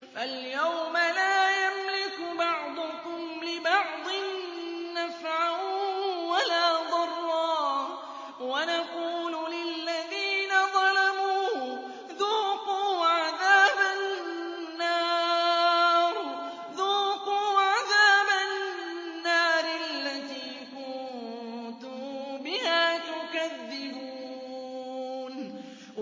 فَالْيَوْمَ لَا يَمْلِكُ بَعْضُكُمْ لِبَعْضٍ نَّفْعًا وَلَا ضَرًّا وَنَقُولُ لِلَّذِينَ ظَلَمُوا ذُوقُوا عَذَابَ النَّارِ الَّتِي كُنتُم بِهَا تُكَذِّبُونَ